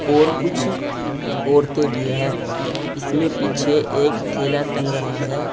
और कुछ औरतें भी हैं इसमें पीछे एक थैला टंग रहा है।